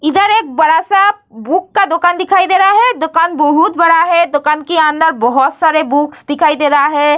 इधर एक बड़ा-सा बुक का दोकान दिखाई दे रहा है दोकान बहुत बड़ा है दोकान के अंदर बहुत सारे बुक्स दिखाई दे रहा है।